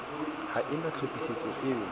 ha e na tlhophisetso eo